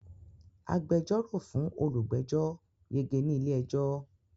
Agbẹjọ́rò fún olùgbẹ́jọ́ yege ní ilé-ẹjọ́.